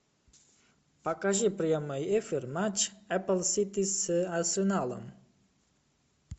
покажи прямой эфир матч апл сити с арсеналом